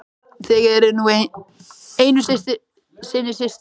Þið eruð nú einu sinni systur.